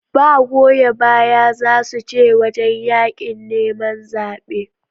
Ba goya baya zasu ce wajan yaƙin neman zabe